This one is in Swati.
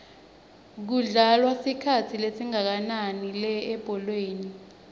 kudlalwa isikhathi esingakananilebholeni